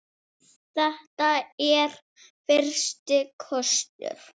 Þetta er fyrsti kostur.